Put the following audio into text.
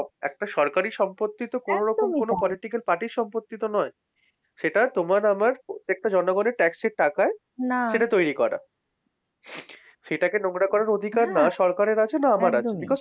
একটা সরকারি সম্পত্তিতো কোনো রকম কোনো political party র সম্পত্তিতো নয় সেটা তোমার আমার প্রত্যেকটা জনগণের tax এর টাকায় সেটা তৈরি করা। সেটা নোংরা করার অধিকার না সরকারের আছে না আমার আছে। because